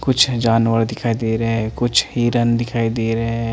कुछ जानवर दिखाई दे रहे ए कुछ हीरन दिखाई दे रहे हैं।